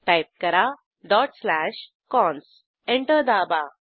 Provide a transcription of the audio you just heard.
type करा dot slash cons enter दाबा